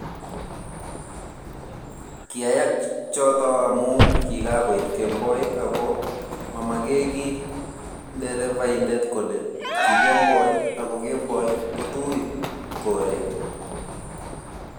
kiyayak choto amu kigagoit kemboi ago mamegeeygiy nderefaindet kole ki kemboi ago kemboi kotuui koret